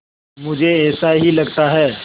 मुझे ऐसा ही लगता है